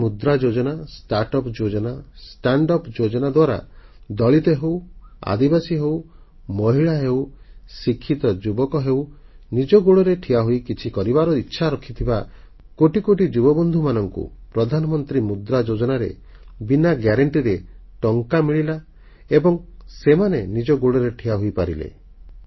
ପ୍ରଧାନମନ୍ତ୍ରୀ ମୁଦ୍ରା ଯୋଜନା ଷ୍ଟାର୍ଟଅପ୍ ଯୋଜନା ଷ୍ଟାଣ୍ଡଅପ୍ ଯୋଜନା ଦ୍ୱାରା ଦଳିତ ହେଉ ଆଦିବାସୀ ହେଉ ମହିଳା ହେଉ ଶିକ୍ଷିତ ଯୁବକ ହେଉ ନିଜ ଗୋଡ଼ରେ ଠିଆହୋଇ କିଛି କରିବାର ଇଚ୍ଛା ରଖିଥିବା କୋଟି କୋଟି ଯୁବବନ୍ଧୁମାନଙ୍କୁ ପ୍ରଧାନମନ୍ତ୍ରୀ ମୁଦ୍ରା ଯୋଜନାରେ ବିନା ଗ୍ୟାରେଣ୍ଟି ରେ ଟଙ୍କା ମିଳିଲା ଏବଂ ସେମାନେ ନିଜ ଗୋଡ଼ରେ ଠିଆ ହୋଇପାରିଲେ